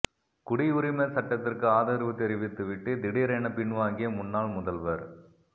குடியுரிமை சட்டத்திற்கு ஆதரவு தெரிவித்து விட்டு திடீரென பின்வாங்கிய முன்னாள் முதல்வர்